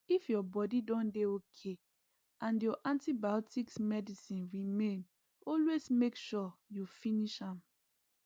if ur body don dey okay and ur antibiotics medicine remain always make sure u finsh m